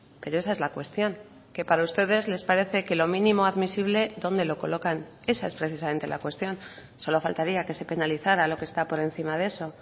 pero esa es la cuestión que para ustedes les parece que lo mínimo admisible dónde lo colocan esa es precisamente la cuestión solo faltaría que se penalizara lo que está por encima de eso